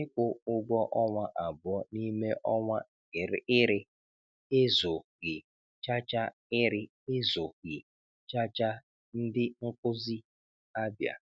Ịkwụ ụgwọ ọnwa abụọ n'ime ọnwa ịrị ezụghi chacha ịrị ezụghi chacha - Ndị nkụzi Abia